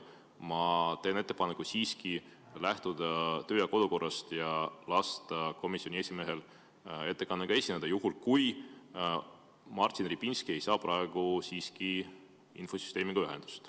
Ma teen ettepaneku siiski lähtuda kodu- ja töökorra seadusest ja lasta komisjoni esimehel ettekandega esineda, juhul kui Martin Repinski ei saa praegu infosüsteemiga ühendust.